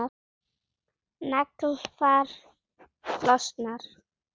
Naglfar losnar.